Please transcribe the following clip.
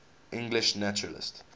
english naturalists